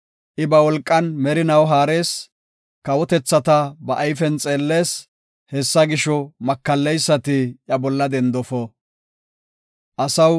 I ba wolqan merinaw haarees. Kawotethata ba ayfen xeellees; hessa gisho, makalleysati iya bolla dendofo. Salaha